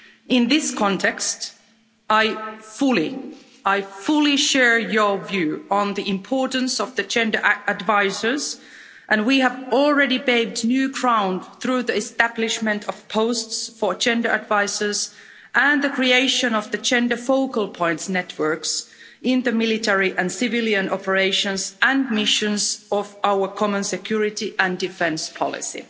In this context, I fully I fully share your view on the importance of the gender advisers and we have already paved new ground through the establishment of posts for gender advisers and the creation of the gender focal points networks in military and civilian operations and missions of our common security and defence policy.